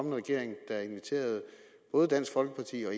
en regering der inviterede både dansk folkeparti og